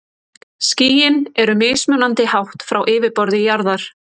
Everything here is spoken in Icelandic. Skýin eru mismunandi hátt frá yfirborði jarðar.